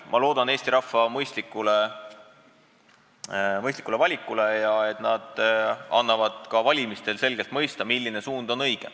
Ma loodan Eesti rahva mõistlikule valikule, loodan, et inimesed annavad ka valimistel selgelt märku, milline suund on õige.